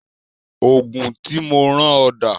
Oògùn tí mo rán ọ dà